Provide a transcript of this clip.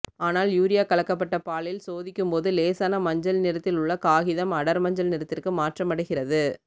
ஆனால் யூரியா கலக்கப்பட்ட பாலில் சோதிக்கும்போது லேசான மஞ்சள் நிறத்தில் உள்ள காகிதம் அடர் மஞ்சள் நிறத்திற்கு மாற்றமடைகிறது